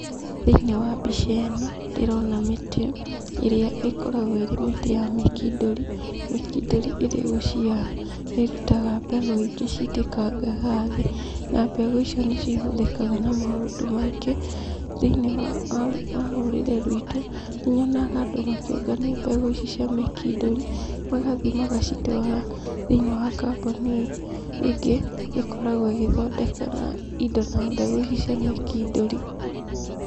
Thĩiniĩ wa mbica ĩno, ndĩrona mĩtĩ, ĩrĩa ĩkoragwo ĩrĩ mĩtĩ ya mĩkindũri. Mĩkindũri ĩrĩ gũciara, nĩ ĩrutaga mbegũ ingĩ ciitĩkangaga thĩ. Na mbegũ icio nĩ cihũthĩkaga na maũndũ maingĩ thĩiniĩ wa wa rũrĩrĩ ruitũ. Nĩ nyonaga andũ makĩũngania mbegũ ici cia mĩkindũri, magathiĩ magacitũara thĩiniĩ wa kambuni ĩngĩ, ĩkoragwo ĩgĩthondeka na indo na mbegũ ici cia mĩkindũri.